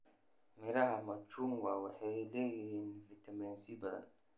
Miraha machungwa waxay leeyihiin fiitamiin C badan.